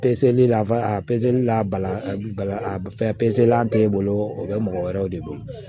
Peseli la a peseli la pezeli tɛ e bolo o bɛ mɔgɔ wɛrɛw de bolo